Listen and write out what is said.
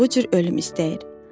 Bu cür ölüm istəyir.